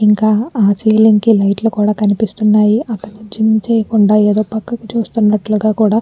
ఇంకా ఆ సీలింగ్ కి లైట్ లు కనిపిస్తున్నాయి. అతను జిమ్ చేయకుండా ఏదో పక్కకి చూస్తున్నట్లుగా కూడా --